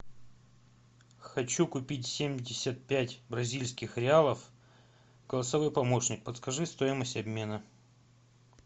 хочу купить семьдесят пять бразильских реалов голосовой помощник подскажи стоимость обмена